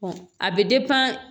a bɛ